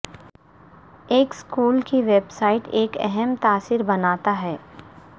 ایک اسکول کی website ایک اہم تاثر بناتا ہے